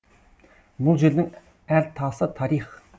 бұл жердің әр тасы тарих